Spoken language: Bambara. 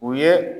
U ye